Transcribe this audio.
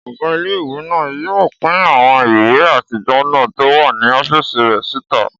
Ọgá ilé-ìwé náà yóò pín àwọn ìwé àtijọ́ náà tó wà ní ọ́fìsì rẹ̀ síta